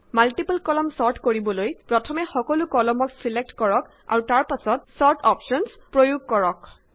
multiple column sort কৰিবলৈ প্ৰথমে সকলো কলমক ছিলেক্ট কৰক আৰু তাৰ পাছত ছৰ্ট অপশ্যনচ প্ৰয়োগ কৰক